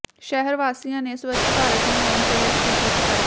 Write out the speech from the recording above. ਸ਼ਹਿਰ ਵਾਸੀਆਂ ਨੇ ਸਵੱਛ ਭਾਰਤ ਮੁਹਿੰਮ ਤਹਿਤ ਕੀਤੀ ਸਫਾਈ